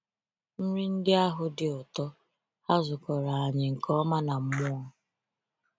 Nri ndị ahụ “dị ụtọ”—ha zụkọrọ anyị nke ọma na mmụọ.